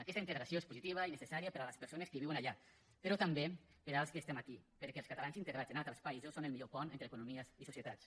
aquesta integració és positiva i necessària per a les persones que viuen allà però també per als que estem aquí perquè els catalans integrats en altres països són el millor pont entre economies i societats